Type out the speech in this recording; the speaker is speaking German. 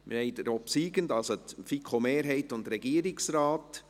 Wir haben den obsiegenden der FiKo-Mehrheit und des Regierungsrates.